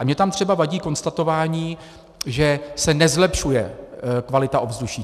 A mně tam třeba vadí konstatování, že se nezlepšuje kvalita ovzduší.